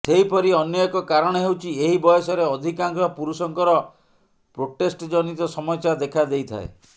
ସେହିପରି ଅନ୍ୟ ଏକ କାରଣ ହେଉଛି ଏହି ବୟସରେ ଅଧିକାଂଶ ପୁରୁଷଙ୍କର ପ୍ରୋଷ୍ଟେଟ୍ ଜନିତ ସମସ୍ୟା ଦେଖା ଦେଇଥାଏ